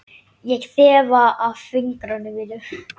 Ég þefa af fingrum mínum.